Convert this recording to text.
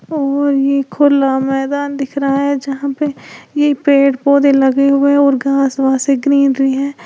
और ये खुला मैदान दिख रहा है जहां पे ये पेड़ पौधे लगे हुए है और घास वास ये ग्रीनरी है।